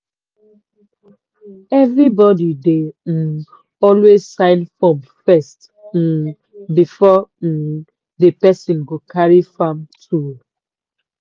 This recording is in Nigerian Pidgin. every body dey um always sign form first um before um di person go carry farm tool.